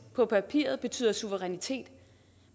på papiret betyder suverænitet